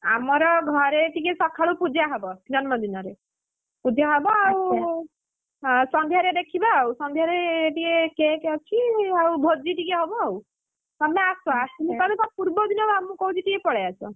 ଆମର ଘରେ ଟିକେ ସକାଳୁ ପୂଜା ହବ ଜନ୍ମଦିନରେ, ପୂଜା ହବ ଆଉ ହଁ ସନ୍ଧ୍ୟାରେ ଦେଖିବା ଆଉ ସନ୍ଧ୍ୟାରେ ଟିକେ cake ଅଛି ଆଉ ଭୋଜି ଟିକେ ହବ ଆଉ। ତମେ ଆସ ଆସିଲେ ତମେ ତା ପୂର୍ବଦିନ ବା ମୁଁ କହୁଛି ଟିକେ ପଳେଇ ଆସ!